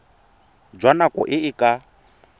jwa nako e e ka